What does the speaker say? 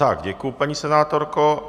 Tak děkuji, paní senátorko.